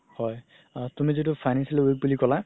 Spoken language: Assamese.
হয় তুমি যিতু financially weak বুলি ক'লা